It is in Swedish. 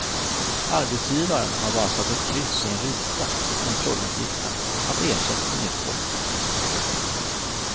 Arbetsgivaren har bara satt ett kryss i en ruta i kontrolluppgiften att ersättning utgått.